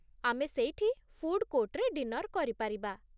ଆମେ ସେଇଠି ଫୁଡ଼ କୋର୍ଟରେ ଡିନର କରିପାରିବା।